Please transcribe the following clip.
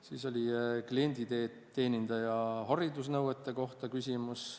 Siis oli küsimus klienditeenindaja haridusnõuete kohta.